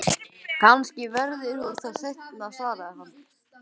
Kannski verður hún það seinna, svaraði hann.